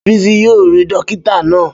Bísí yóò rí dókítà náà